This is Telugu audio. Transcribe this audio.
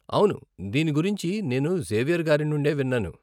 అవును, దీని గురించి నేను జేవియర్ గారి నుండే విన్నాను.